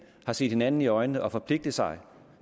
har set hinanden i øjnene og forpligtet sig